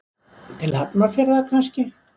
Til Hafnarfjarðar kannski.